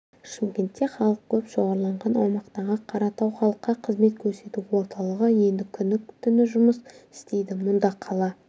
шымкентте халық көп шоғырланған аумақтағы қаратау халыққа қызмет көрсету орталығы енді күні-түні жұмыс істейді мұнда қала